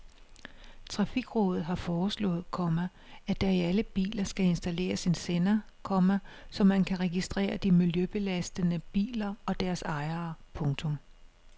Trafikrådet har foreslået, komma at der i alle biler skal installeres en sender, komma så man kan registrere de miljøbelastende biler og deres ejere. punktum